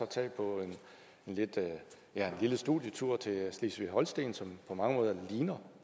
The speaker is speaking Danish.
tage på en lille studietur til slesvig holsten som på mange måder ligner